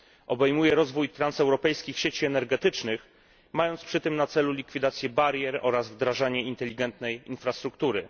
Obejmuje rozwój transeuropejskich sieci energetycznych, mając przy tym na celu likwidację barier oraz wdrażanie inteligentnej infrastruktury.